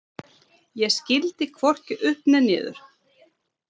Ég skildi hvorki upp né niður.